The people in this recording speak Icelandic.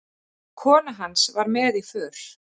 Kona hans var með í för.